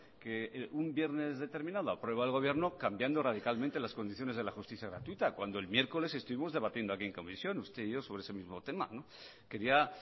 que un viernes determinado aprueba el gobierno cambiando radicalmente las condiciones de la justicia gratuita cuando el miércoles estuvimos debatiendo aquí en comisión usted y yo sobre ese mismo tema quería